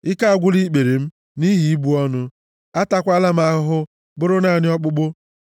Ike agwụla ikpere m, nʼihi ibu ọnụ; ataakwala m ahụ, bụrụ naanị ọkpụkpụ.